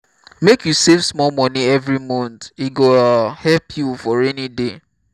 make you save small money every month e go um help you for rainy day